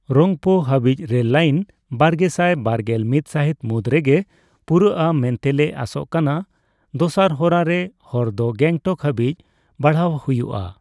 ᱨᱚᱝᱯᱳ ᱦᱟᱹᱵᱤᱡ rail line ᱵᱟᱨᱜᱮᱥᱟᱭ ᱵᱟᱨᱜᱮᱞ ᱢᱤᱛ ᱥᱟᱦᱤᱛ ᱢᱩᱫᱨᱮ ᱜᱮ ᱯᱩᱨᱳᱜᱼᱟ ᱢᱮᱱᱛᱮ ᱞᱮ ᱟᱥᱳᱜ ᱠᱟᱱᱟ ᱾ ᱫᱚᱥᱟᱨ ᱦᱚᱨᱟ ᱨᱮ, ᱦᱚᱨ ᱫᱚ ᱜᱮᱝᱴᱚᱠ ᱦᱟᱹᱵᱤᱡ ᱵᱟᱲᱦᱟᱣ ᱦᱩᱭᱩᱜᱼᱟ ᱾